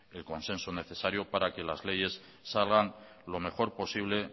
el consenso necesario para que las leyes salgan lo mejor posible